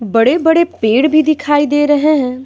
बड़े-बड़े पेड़ भी दिखाई दे रहे हैं।